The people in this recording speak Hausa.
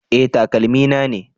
Eh, takalmi na ne